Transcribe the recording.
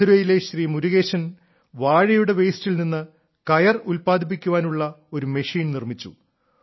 മധുരയിലെ ശ്രീ മുരുകേശൻ വാഴയുടെ വേസ്റ്റിൽ നിന്ന് കയർ ഉല്പാദിപ്പിക്കാനുള്ള ഒരു മെഷീൻ നിർമ്മിച്ചു